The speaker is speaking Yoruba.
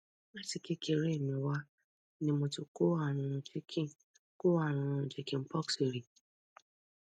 láti kékeré mi wá ni mo ti kó àrùn chicken kó àrùn chicken pox rí